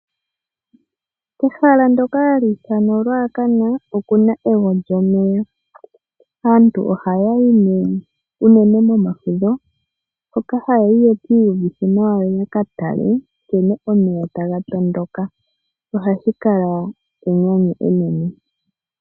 Ehala ndyoka hali ithanwa oRuacan okuna ewo lyomeya. Aantu ohaya yi nee unene momafudho, hoka haya yi ye ki iyuvithe nawa yo ya ka tale nkene omeya taga tondoka nohashi kala enyanyu enene.